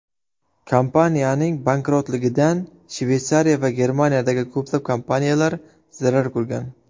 Kompaniyaning bankrotligidan Shveysariya va Germaniyadagi ko‘plab kompaniyalar zarar ko‘rgan.